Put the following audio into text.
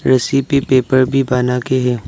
रस्सी पे पेपर भी बनाके है।